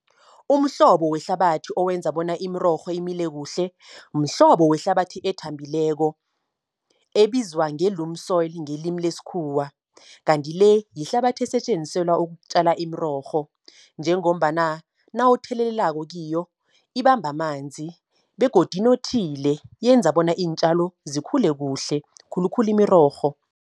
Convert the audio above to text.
Umhlobo wehlabathi owenza bona imirorho imile kuhle, mhlobo wehlabathi ethambileko, ebizwa nge-loam soil ngelimi lesikhuwa. Kanti le, yihlabathi esetjenziselwa ukutjala imirorho, njengombana nawuthelelelako kiyo ibamba amanzi. Begodu inothile yenza bona iintjalo zikhule kuhle khulukhulu imirorho.